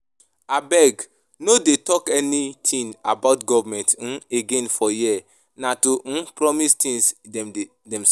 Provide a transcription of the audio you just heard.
Abeg no dey talk anything about government um again for here, na to um promise things dem sabi